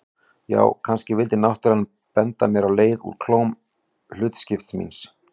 Já, kannski vildi náttúran benda mér á leið úr klóm hlutskiptis míns.